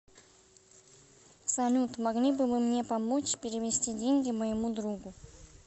салют могли бы вы мне помочь перевести деньги моему другу